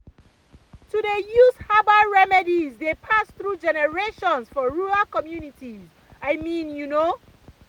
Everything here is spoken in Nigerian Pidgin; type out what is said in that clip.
to dey use herbal remedies dey pass through generations for rural communities i mean you know